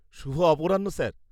শুভ অপরাহ্ন, স্যার!